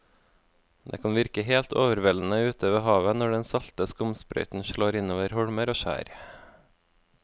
Det kan virke helt overveldende ute ved havet når den salte skumsprøyten slår innover holmer og skjær.